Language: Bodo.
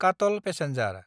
काटल पेसेन्जार